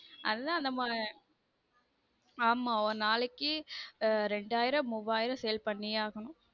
அது தான் நம்ம ஆமா ஒரு நாளைக்கு ரெண்டாயிரம் மூவாயிரம் sale பண்ணியே ஆகனும்